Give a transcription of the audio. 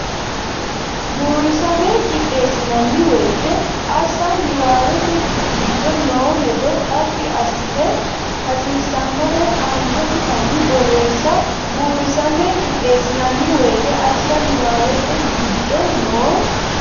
Buurisame qixxeessinanni woyte assa niwaawete giddo noo hedo xaphi assite hasiissannore aantensanni borreesse Buurisame qixxeessinanni woyte assa niwaawete giddo noo.